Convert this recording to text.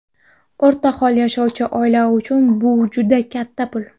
O‘rtahol yashovchi oila uchun bu juda katta pul.